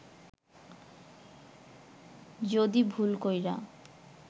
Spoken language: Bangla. যুদি ভুল কইরা